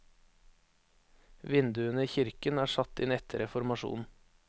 Vinduene i kirken er satt inn etter reformasjonen.